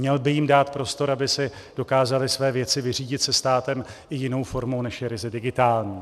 Měl by jim dát prostor, aby si dokázali své věci vyřídit se státem i jinou formou, než je ryze digitální.